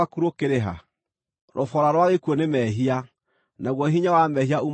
Rũboora rwa gĩkuũ nĩ mehia, naguo hinya wa mehia uumanaga na watho.